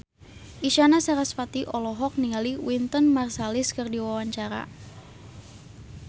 Isyana Sarasvati olohok ningali Wynton Marsalis keur diwawancara